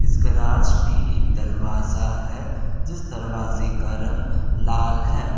Garage में एक दरवाजा है जिस दरवाजे का रंग लाल है।